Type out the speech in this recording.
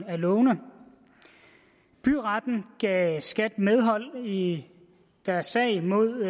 af lovene byretten gav skat medhold i i deres sag mod